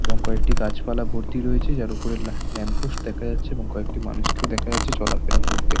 এবং কয়েকটি গাছপালা ভর্তি রয়েছে যার উপরে ল্যা-ল্যাম্প পোস্ট দেখা যাচ্ছে এবং কয়েকটি মানুষকেও দেখা যাচ্ছে চলাফেরা করতে।